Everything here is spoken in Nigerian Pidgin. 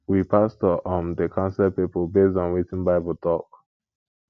we pastor um dey counsel pipo based on wetin bible tok